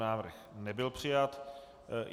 Návrh nebyl přijat.